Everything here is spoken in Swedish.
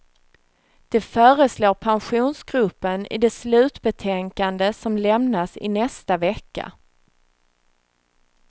Det föreslår pensionsgruppen i det slutbetänkande som lämnas i nästa vecka.